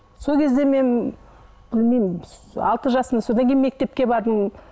сол кезде мен білмеймін алты жасым содан кейін мектепке бардым